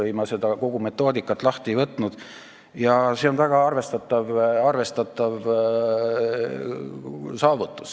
Ma kogu seda metoodikat lahti ei võtnud, aga see on väga arvestatav saavutus.